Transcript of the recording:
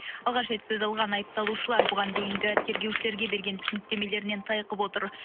алғаш рет сөз алған айыпталушылар бұған дейінгі тергеушілерге берген түсініктемелерінен тайқып отыр